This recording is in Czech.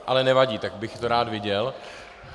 Ale nevadí, tak bych to rád viděl.